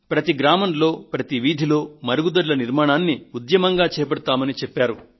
ప్రతి గ్రామంలో ప్రతి వీధిలో మరుగుదొడ్ల నిర్మాణాన్ని ఉద్యమంగా చేపడతామని చెప్పారు